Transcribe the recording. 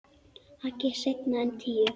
Ekki seinna en tíu.